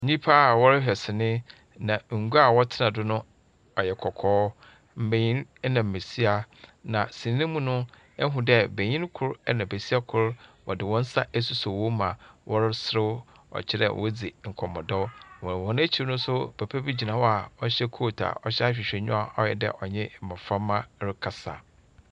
Nyimpa a wɔrehwɛ sini, na ngua a wɔtsena do no yɛ kɔkɔɔ. Mbenyin na mbesia. Benyin kor na besia kor wɔdze hɔn nsa asosɔ hɔn mu a wɔreserew. Kyerɛ dɛ wɔredzi nkɔmbɔdɛw. Wɔ hɔn ekyir no nso, papa bi gyina hɔ a ɔhyɛ coat a ɔhyɛ ahwehwɛnyiwa a ayɛ dɛ ɔnye mboframba rekasa.